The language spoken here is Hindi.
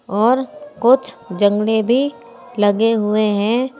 और कुछ जंगले भी लगे हुए हैं।